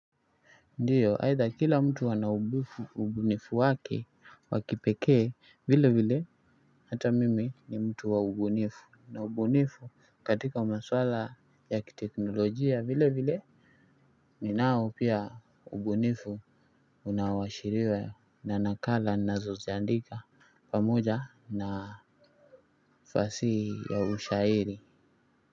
Ndiyo aidha kila mtu ana ubunifu wake wa kipekee vile vile hata mimi ni mtu wa ubunifu na ubunifu katika masuala ya kiteknolojia vile vile ninao pia ubunifu unaoashiriwa na nakala ninazoziandika pamoja na fasihi ya ushairi.